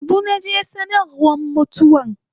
Yanzu naje sanarwa mutuwan